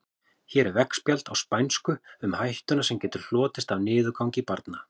Hér er veggspjald á spænsku um hættuna sem getur hlotist af niðurgangi barna.